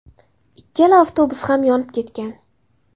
Ikkala avtobus ham yonib ketgan.